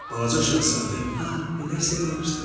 Balaca şahzadə: ah, elə isə bağışda, dedi.